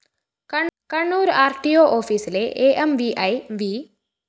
Kannur‍ R T O ഓഫീസിലെ A M V I V